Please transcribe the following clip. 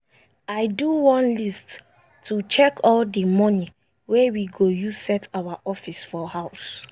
i do one list to check all the money wey we go use set our office for house.